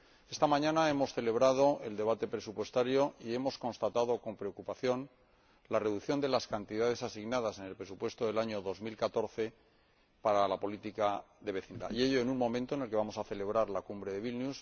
Esta mañana hemos celebrado el debate presupuestario y hemos constatado con preocupación la reducción de las cantidades asignadas en el presupuesto del año 2014 a la política de vecindad, y ello en un momento en el que vamos a celebrar la Cumbre de Vilna.